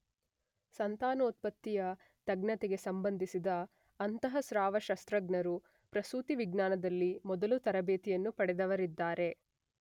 ಸಂತಾನೋತ್ಪತ್ತಿಯ ತಜ್ಞತೆಗೆ ಸಂಬಂಧಿಸಿದ ಅಂತಃಸ್ರಾವಶಾಸ್ತ್ರಜ್ಞರು ಪ್ರಸೂತಿ ವಿಜ್ಞಾನದಲ್ಲಿ ಮೊದಲು ತರಬೇತಿಯನ್ನು ಪಡೆದವರಿದ್ದಾರೆ